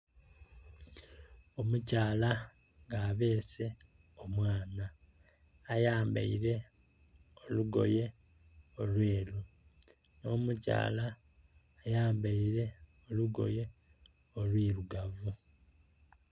Omukyala nga abese omwana ayambaire olugoye olweru no mikyala ayambaire olugoye olwirugavu.